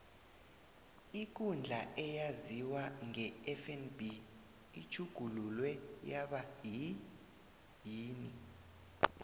ikundla eyaziwa ngefnb itjhugululwe yaba yini